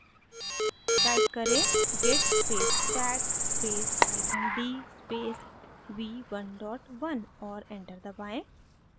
type करें: git space tag space hyphen d space v11 और enter दबाएँ